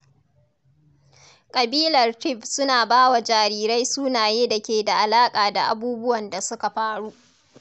Kabilar Tiv suna ba wa jarirai sunaye da ke da alaƙa da abubuwan da suka faru.